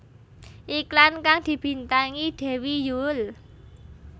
Iklan kang dibintangi Dewi Yull